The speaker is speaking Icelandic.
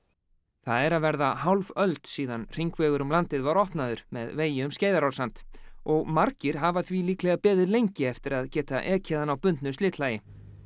það er að verða hálf öld síðan hringvegur um landið var opnaður með vegi um Skeiðarársand og margir hafa því líklega beðið lengi eftir að geta ekið hann á bundnu slitlagi